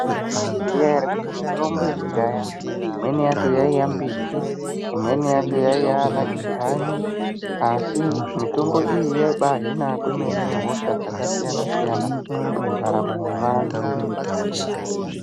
Mwaizviziya ere kuti mitombo yekudhaya imweni yacho yaiya mbiti imweni yacho yaiye kudhlani mitombo iyi yaibahina kwemene hosha dzakasiyana siyana mundaramo mwevantu.